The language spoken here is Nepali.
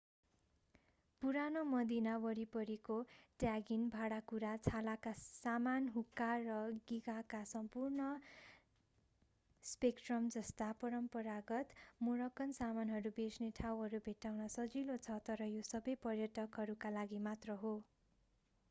पुरानो मदीना वरिपरिको ट्यागिन भाँडाकुँडा छालाका सामान हुक्का र गिगाका सम्पूर्ण स्पेक्ट्रमजस्ता परम्परागत मोरक्कन सामानहरू बेच्ने ठाउँहरू भेट्टाउन सजिलो छ तर यो सबै पर्यटकहरूका लागि मात्र हो